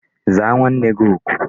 Zaa nwanne gi oku!